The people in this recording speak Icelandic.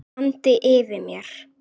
andi yfir mér.